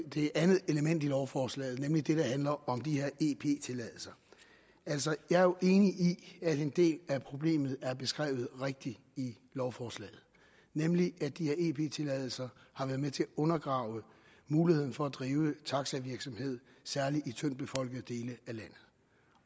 det andet element i lovforslaget nemlig det der handler om de her ep tilladelser altså jeg er jo enig i at en del af problemet er beskrevet rigtigt i lovforslaget nemlig at de her ep tilladelser har været med til at undergrave muligheden for at drive taxavirksomhed særlig i tyndtbefolkede dele af landet